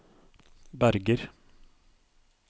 Berger